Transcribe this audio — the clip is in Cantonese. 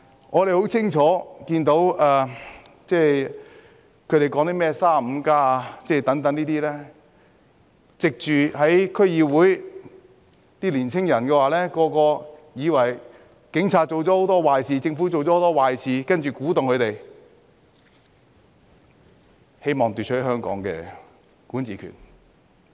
我們很清楚見到，他們宣揚 "35+"， 利用區議會，讓年輕人以為警察做了很多壞事、政府做了很多壞事，然後鼓動他們，希望奪取香港的管治權。